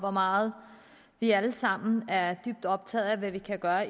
hvor meget vi alle sammen er dybt optaget af hvad vi kan gøre